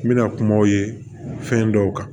N bɛna kumaw ye fɛn dɔw kan